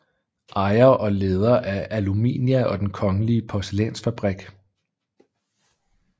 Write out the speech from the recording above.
Ejer og leder af Aluminia og Den kongelige Porcelainsfabrik